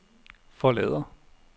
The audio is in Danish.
forlader